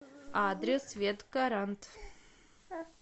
адрес ветгарант